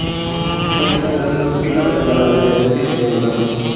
પણ એટલા બધા માં તો કેટલા બધા mall આવી જાય દસ વ્વીસ કરોડ માં તો,